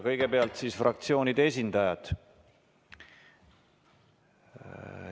Kõigepealt siis fraktsioonide esindajad.